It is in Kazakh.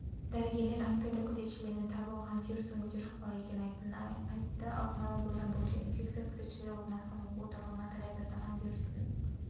дәрігерлер олимпиада күзетшілерінен табылған вирустың өте жұқпалы екенін айтты алдын ала болжам бойынша инфекция күзетшілер орналасқан оқу орталығынан тарай бастаған вирустың